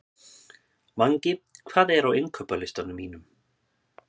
Mangi, hvað er á innkaupalistanum mínum?